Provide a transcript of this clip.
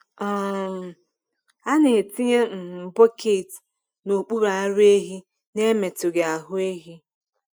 um A na-etinye um bọket n’okpuru ara ehi n’emetụghị ahụ ehi.